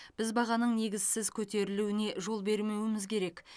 біз бағаның негізсіз көтерілуіне жол бермеуіміз керек